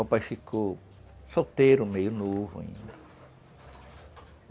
O papai ficou solteiro, meio novo ainda.